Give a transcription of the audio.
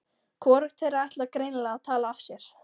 Hvorugt þeirra ætlar greinilega að tala af sér.